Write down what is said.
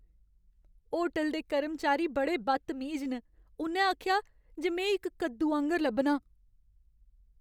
Hotel दे कर्मचारी बड़े बदतमीज न। उ'न्नै आखेआ जे में इक कद्दू आंह्गर लब्भनां।